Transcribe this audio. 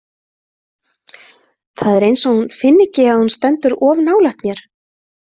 Það er eins og hún finni ekki að hún stendur of nálægt mér.